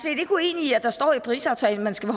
ikke uenig i at der står i parisaftalen at man skal